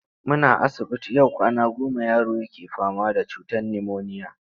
Muna asibiti yau kwana goma yaro yake fama da ciwon nimoniya.